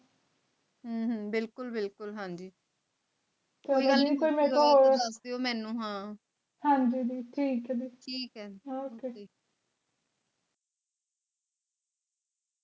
ਹਨ ਹਨ ਬਿਲਕੁਲ ਬਿਲਕੁਲ ਹਾਂਜੀ